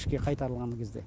ішке қайтарылған кезде